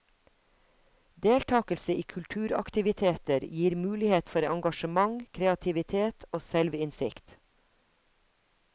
Deltakelse i kulturaktiviteter gir mulighet for engasjement, kreativitet og selvinnsikt.